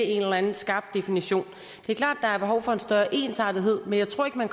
en eller anden skarp definition det er klart at der er behov for en større ensartethed men jeg tror ikke man